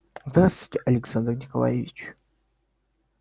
здравствуйте александр николаевич